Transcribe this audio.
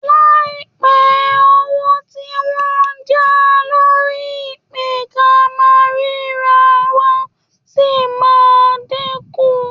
Láìpẹ́ owó tí wọ́n ń já lórí ìpè-ká-máa-ríra-wa ṣì máa dínkù